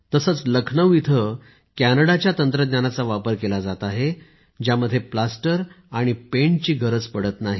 तसेच लखनौ इथे कॅनडाच्या तंत्रज्ञानाचा वापर केला जात आहेत यात प्लास्टर आणि पेंटची गरज पडत नाही